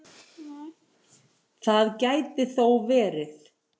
Það gæti þó verið.